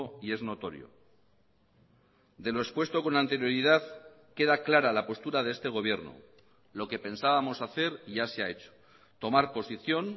y es notorio de lo expuesto con anterioridad queda clara la postura de este gobierno lo que pensábamos hacer ya se ha hecho tomar posición